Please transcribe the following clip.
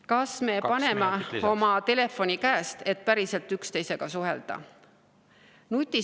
Kas me paneme oma telefoni käest, et päriselt üksteisega suhelda?